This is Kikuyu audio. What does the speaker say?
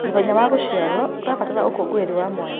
Mũthenya wa gũciarwo ũrabatara ũkũngũĩri wa mwanya.